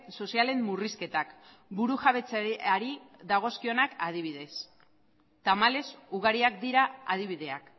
sozialen murrizketak buru jabetzari dagozkionak adibidez tamalez ugariak dira adibideak